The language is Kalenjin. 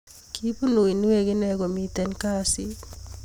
kipun uinwek ine komiten kasit